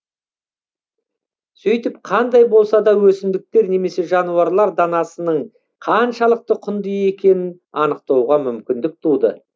сөйтіп қандай болса да өсімдіктер немесе жануарлар данасының қаншалықты құнды екенін анықтауға мүмкіндік туды